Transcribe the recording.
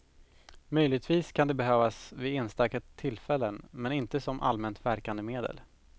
Möjligtvis kan det behövas vid enstaka tillfällen, men inte som allmänt verkande medel.